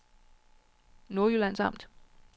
Nordjyllands Amt